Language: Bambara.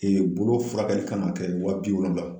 Ee Bolo furakɛli kan ka kɛ waa bi wolonwula